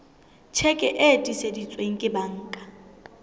tjheke e tiiseditsweng ke banka